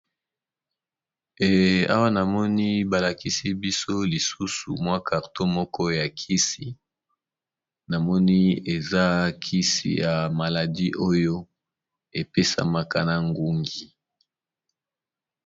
Awa, namoni balakisi biso lisusu mwa karto moko ya kisi. Namoni eza kisi ya maladi oyo epesamaka na ngungi.